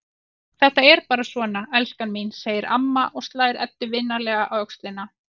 Þetta er bara svona, elskan mín, segir amma og slær Eddu vinalega á öxlina.